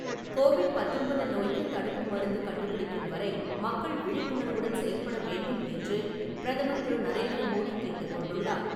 Covid பத்தொன்பது நோய்க்கு தடுப்பு மருந்து கண்டுபிடிக்கும் வரை மக்கள் விழிப்புணர்வுடன் செயல்பட வேண்டும் என்று பிரதமர் திரு. நரேந்திர மோடி கேட்டுக்கொண்டுள்ளார்.